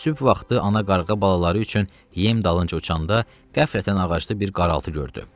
Sübh vaxtı ana qarğa balaları üçün yem dalınca uçanda, qəflətən ağacda bir qaraltı gördü.